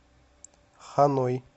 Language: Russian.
ханой